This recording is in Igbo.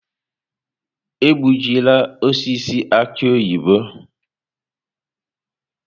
Egbujịla osisi aki oyibo!